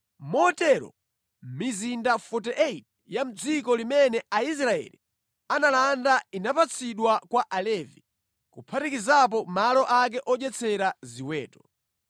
Motero mizinda 48 ya mʼdziko limene Aisraeli analanda inapatsidwa kwa Alevi, kuphatikizapo malo ake odyetsera ziweto.